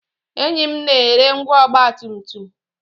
Enyi m na-ere ngwá ọgba tum tum